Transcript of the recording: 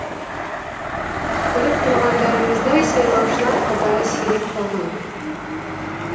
көріп тұрғандарыңыздай сайлаушылар қатары сиреп қалған